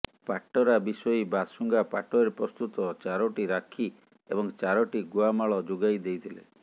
ପାଟରା ବିଶୋଇ ବାଶୁଙ୍ଗା ପାଟରେ ପ୍ରସ୍ତୁତ ଚାରୋଟି ରାକ୍ଷୀ ଏବଂ ଚାରୋଟି ଗୁଆମାଳ ଯୋଗାଇ ଦେଇଥିଲେ